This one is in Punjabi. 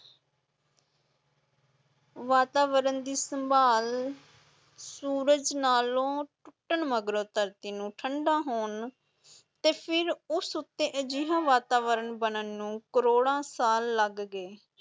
ਵਾਤਾਵਰਨ ਦੀ ਸੰਭਾਲ, ਸੂਰਜ ਨਾਲ਼ੋਂ ਟੁੱਟਣ ਮਗਰੋਂ ਧਰਤੀ ਨੂੰ ਠੰਢਾ ਹੋਣ ਤੇ ਫਿਰ ਉਸ ਉੱਤੇ ਅਜਿਹਾ ਵਾਤਾਵਰਨ ਬਣਨ ਨੂੰ ਕਰੋੜਾਂ ਸਾਲ ਲੱਗ ਗਏ।